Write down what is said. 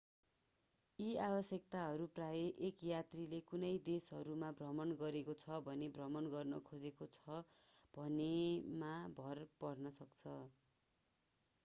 यी आवश्यकताहरू प्रायः एक यात्रीले कुन देशहरू भ्रमण गरेको छ वा भ्रमण गर्न खोजेको छ भन्नेमा भर पर्न सक्छन्